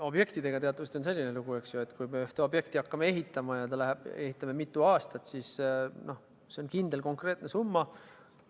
Objektidega on teatavasti selline lugu, et kui me ühte objekti hakkame ehitama ja ehitame seda mitu aastat, siis selleks on kindel, konkreetne summa.